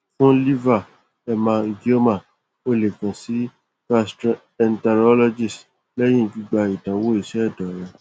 fún liver hemangioma o lè kàn sí gastroenterologist lẹ́yìn gbígba ìdánwò iṣẹ́ ẹ̀dọ̀ rẹ